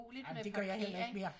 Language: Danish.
Ej men det gør jeg heller ikke mere